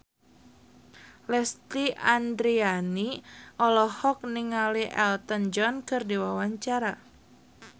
Lesti Andryani olohok ningali Elton John keur diwawancara